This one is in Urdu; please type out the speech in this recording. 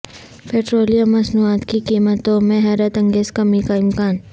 پٹرولیم مصنوعات کی قیمتوں میں حیرت انگیز کمی کا امکان